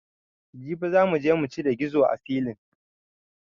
Jibi za muje mucire gizo a silin